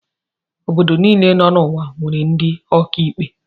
Obodo niile nọ n'ụwa nwere ndị ọkàikpe.